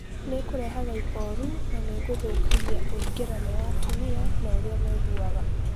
Nĩkũrehaga ihoru na nĩgũthũkagia ũĩgerano wa atumia na ũria maiguaga